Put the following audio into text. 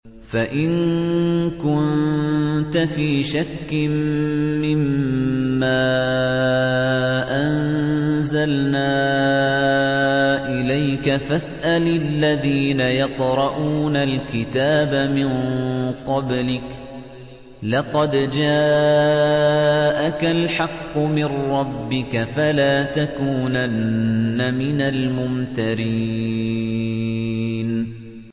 فَإِن كُنتَ فِي شَكٍّ مِّمَّا أَنزَلْنَا إِلَيْكَ فَاسْأَلِ الَّذِينَ يَقْرَءُونَ الْكِتَابَ مِن قَبْلِكَ ۚ لَقَدْ جَاءَكَ الْحَقُّ مِن رَّبِّكَ فَلَا تَكُونَنَّ مِنَ الْمُمْتَرِينَ